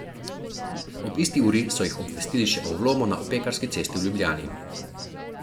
Ob isti uri so jih obvestili še o vlomu na Opekarski cesti v Ljubljani.